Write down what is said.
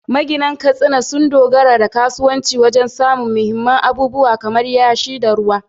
Maginan Katsina sun dogara da kasuwa wajen samun muhimman abubuwa kamar yashi da ruwa.